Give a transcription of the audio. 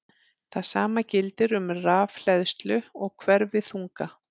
Það sama gildir um rafhleðslu og hverfiþunga.